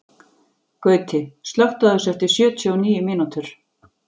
Gauti, slökktu á þessu eftir sjötíu og níu mínútur.